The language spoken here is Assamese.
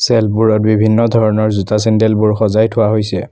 চেল্ফ বোৰত বিভিন্ন ধৰণৰ জোতা চেণ্ডেল বোৰ সজাই থোৱা হৈছে।